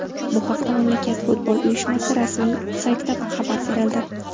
Bu haqda mamlakat futbol uyushmasi rasmiy saytida xabar berildi .